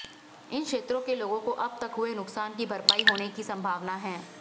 इन क्षेत्रों के लोगों को अब तक हुए नुकसान की भरपाई होने की संभावना है